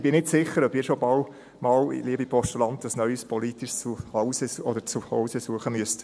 Ich bin nicht sicher, ob ich schon bald einmal, liebe Postulanten, ein neues politisches Zuhause suchen müsste.